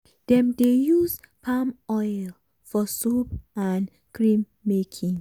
dem dey use palm oil for soap and cream making.